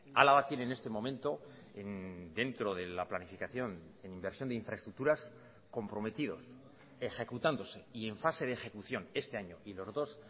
álava tiene en este momento dentro de la planificación en inversión de infraestructuras comprometidos ejecutándose y en fase de ejecución este año y los dos